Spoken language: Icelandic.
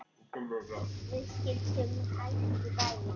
Við sigldum hægt í bæinn.